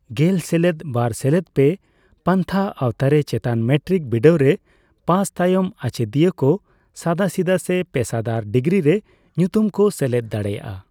ᱜᱮᱞ ᱥᱮᱞᱮᱫ ᱵᱟᱨ ᱥᱮᱞᱮᱫ ᱯᱮ ᱯᱟᱱᱛᱷᱟ ᱟᱣᱛᱟᱨᱮ, ᱪᱮᱛᱟᱱ ᱢᱮᱴᱨᱤᱠ ᱵᱤᱰᱟᱹᱣ ᱨᱮ ᱯᱟᱥ ᱛᱟᱭᱚᱢ ᱟᱪᱮᱫᱤᱭᱟᱹ ᱠᱚ ᱥᱟᱫᱟᱥᱤᱫᱟᱹ ᱥᱮ ᱯᱮᱥᱟᱫᱟᱨ ᱰᱤᱜᱽᱨᱤ ᱨᱮ ᱧᱩᱛᱩᱢ ᱠᱚ ᱥᱮᱞᱮᱫ ᱫᱟᱲᱮᱭᱟᱜᱼᱟ᱾